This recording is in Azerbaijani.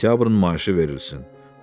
Sentyabrın maaşı verilsin.